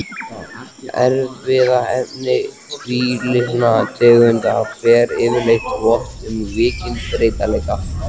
Erfðaefni tvílitna tegunda ber yfirleitt vott um mikinn breytileika.